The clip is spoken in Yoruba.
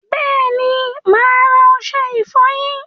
Bẹẹni, máa ra ọṣẹ ifọyín